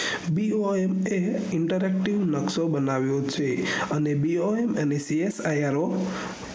boima interactive નક્શો બનવિયો છે boima અને csiro